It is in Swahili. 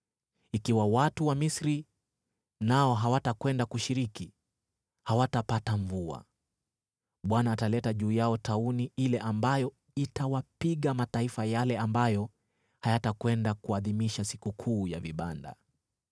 Ikiwa watu wa Misri nao hawatakwenda kushiriki, hawatapata mvua. Bwana ataleta juu yao tauni ile ambayo itawapiga mataifa yale ambayo hayatakwenda kuadhimisha Sikukuu ya Vibanda.